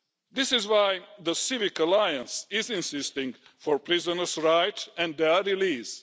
This is why the Civic Alliance is pressing for prisoner's rights and their release.